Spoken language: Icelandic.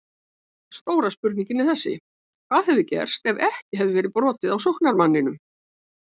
Stóra spurningin er þessi: Hvað hefði gerst ef ekki hefði verið brotið á sóknarmanninum?